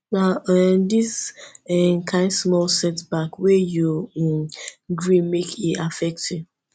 na um dis um kain small setback wey you um gree make e affect you